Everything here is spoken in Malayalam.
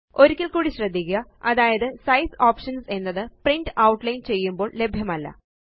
ഒരിക്കല് കൂടി ശ്രദ്ധിക്കുക അതായത് സൈസ് ഓപ്ഷൻസ് എന്നത് പ്രിന്റ് ഔട്ട്ലൈൻ ചെയ്യുമ്പോള് ലഭ്യമല്ല